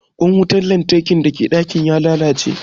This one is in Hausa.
Ƙwan wutan lantarkin da ke ɗaki na ya lalace